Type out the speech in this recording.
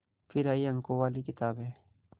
फिर आई अंकों वाली किताबें